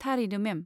थारैनो, मेम।